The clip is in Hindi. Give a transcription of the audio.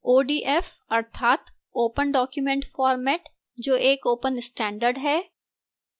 odf अर्थात open document format जो एक open standard है